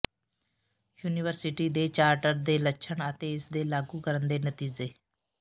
university ਦੇ charter ਦੇ ਲੱਛਣ ਅਤੇ ਇਸ ਦੇ ਲਾਗੂ ਕਰਨ ਦੇ ਨਤੀਜੇ